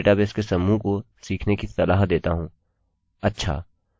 मैं आपको डेटाबेस के समूह को सीखने की सलाह देता हूँ